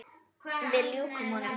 Við ljúkum honum.